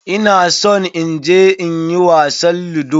Ina son in je in yi wasan ludo.